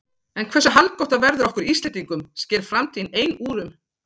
En hversu haldgott það verður okkur Íslendingum sker framtíðin ein úr um.